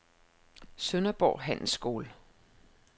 Sønderborg Handelsskole